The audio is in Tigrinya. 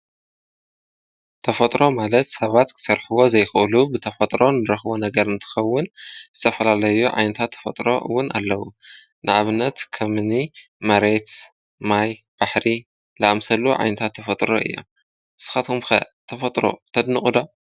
ተፈጥሮ ማለት ሰባት ክሰርሕዎ ዘይክእሉ ብተፈጥሮ እንረኽቦ ነገር እንኸውን ዝተፈላለዩ ዓይነታት ተፈጥሮ እውን ኣለዉ፡፡ ንኣብነት ከምኒ መሬት፣ ማይ፣ ባሕሪ ዝኣምሰሉ ዓይነታት ተፈጥሮ እዮም፡፡ ንስኻትኩም ኸ ተፈጥሮ ተድንቑ ዶ?